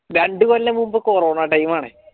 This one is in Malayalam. രണ്ടു കൊല്ലം മുമ്പ് corona time ആണ്